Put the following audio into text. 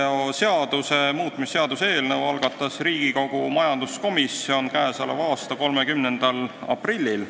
Autoveoseaduse muutmise seaduse eelnõu algatas Riigikogu majanduskomisjon k.a 30. aprillil.